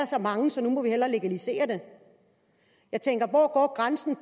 så mange så nu må vi hellere legalisere det jeg tænker